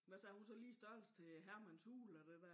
Hvad så er hun så lige størrelse til Hermans Hule og det dér?